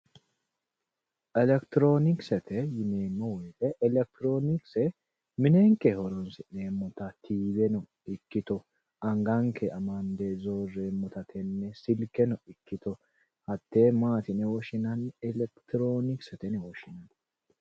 Elekitironkisete yineemmo woyte. elekitironkise minenke horonsi'neemmotta tiveno anganke amande zorreemmotta silkeno ikkitto hate maati yinne woshshinanni elekitoronkise yinne.